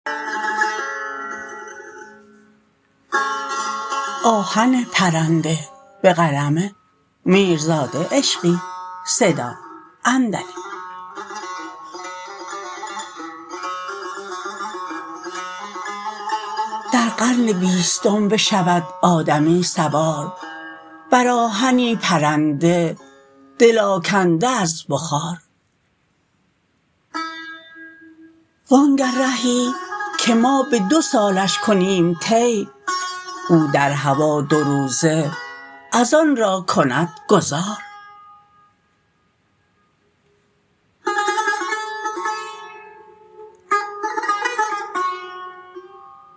در قرن بیستم بشود آدمی سوار بر آهنی پرنده دل آکنده از بخار وآنگه رهی که ما به دوسالش کنیم طی او در هوا دو روزه از آن را کند گذار